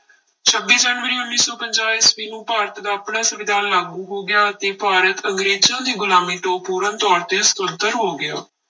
ਛੱਬੀ ਜਨਵਰੀ ਉੱਨੀ ਸੌ ਪੰਜਾਹ ਈਸਵੀ ਨੂੰ ਭਾਰਤ ਦਾ ਆਪਣਾ ਸੰਵਿਧਾਨ ਲਾਗੂ ਹੋ ਗਿਆ ਅਤੇ ਭਾਰਤ ਅੰਗਰੇਜ਼ਾਂ ਦੀ ਗੁਲਾਮੀ ਤੋਂ ਪੂਰਨ ਤੌਰ ਸੁਤੰਤਰ ਹੋ ਗਿਆ।